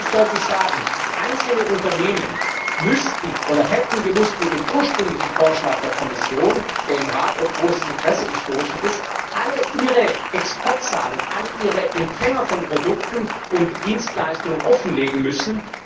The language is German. Ich möchte mal ganz deutlich sagen Einzelne Unternehmen hätten bei dem ursprünglichen Vorschlag der Kommission, der im Rat auf großes Interesse gestoßen ist, alle ihre Exportzahlen, alle ihre Empfänger von Produkten und Dienstleistungen offenlegen müssen.